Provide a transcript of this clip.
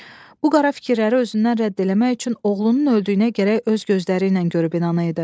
Bu qara fikirləri özündən rədd eləmək üçün oğlunun öldüyünə gərək öz gözləriylə görüb inana idi.